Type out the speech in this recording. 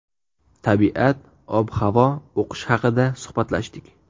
Tabiat, ob-havo, o‘qish haqida suhbatlashdik.